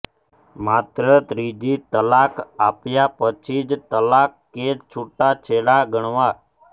માત્ર ત્રીજી તલાક આપ્યા પછી જ તલાક કે છુટાછેડા ગણવાં